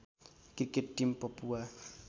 cricket team Papua